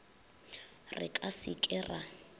re ka se ke ra